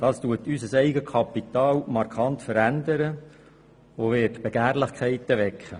Das verändert unser Eigenkapital markant und wird Begehrlichkeiten wecken.